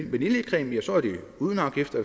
uden afgifter